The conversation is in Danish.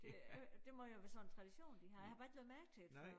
Det er det må jo være sådan en tradition de har jeg har bare ikke lagt mærke til det før